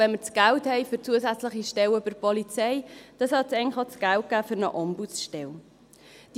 Wenn wir das Geld für zusätzliche Stellen bei der Polizei haben, sollte es eigentlich auch das Geld für eine Ombudsstelle geben.